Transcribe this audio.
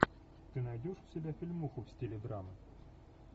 ты найдешь у себя фильмуху в стиле драмы